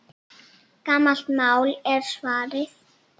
Gamalt mál, er svarið.